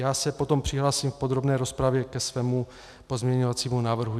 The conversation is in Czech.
Já se potom přihlásím v podrobné rozpravě ke svému pozměňovacímu návrhu.